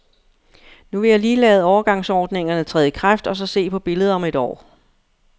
Nu vil jeg lige lade overgangsordningerne træde i kraft og så se på billedet om et år.